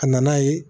A nana ye